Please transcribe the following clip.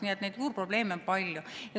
Nii et neid juurprobleeme on palju.